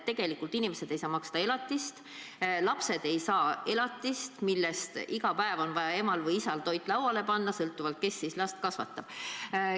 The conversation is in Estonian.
Tegelikult inimesed ei saa maksta elatist, lapsed ei saa elatist, millest iga päev on vaja neile toit lauale panna – emal või isal, sõltuvalt sellest, kes last kasvatab.